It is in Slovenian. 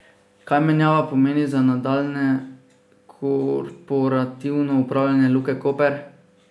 Kaj menjava pomeni za nadaljnje korporativno upravljanje Luke Koper?